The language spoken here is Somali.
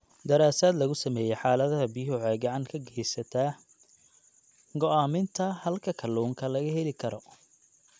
Daraasad lagu sameeyay xaaladaha biyuhu waxay gacan ka geysataa go'aaminta halka kalluunka laga heli karo.